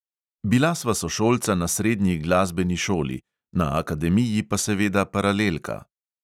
Bila sva sošolca na srednji glasbeni šoli, na akademiji pa seveda paralelka.